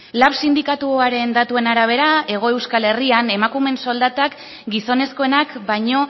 lab sindikatuaren datuen arabera hego euskal herrian emakumeen soldatak gizonezkoenak baino